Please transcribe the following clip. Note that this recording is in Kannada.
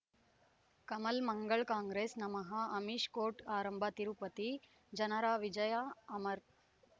ಕಮಲ್ ಮಂಗಳ್ ಕಾಂಗ್ರೆಸ್ ನಮಃ ಅಮಿಷ್ ಕೋರ್ಟ್ ಆರಂಭ ತಿರುಪತಿ ಜನರ ವಿಜಯ ಅಮರ್